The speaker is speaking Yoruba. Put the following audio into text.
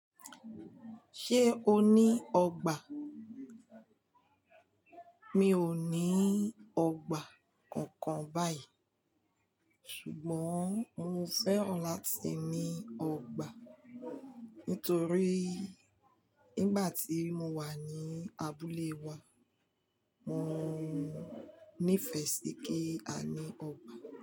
Ṣé o ní ọgbà? Mi ò ní ọgbà kankan báyìí ṣùgbọ́n mo fẹ́ràn láti ní ọgbà nítorí nígbà tí mo wà ní abúlé wa, mọ nífẹ̀ẹ́ sí kí a ní ọgbà.